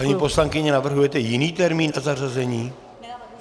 Paní poslankyně, navrhujete jiný termín na zařazení?